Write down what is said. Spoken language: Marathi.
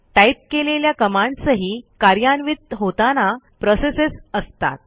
टाइप केलेल्या कमांड्सही कार्यान्वित होताना प्रोसेसच असतात